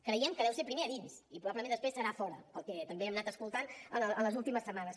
creiem que deu ser primer a dins i després probablement serà fora pel que també hem anat escoltant en les últimes setmanes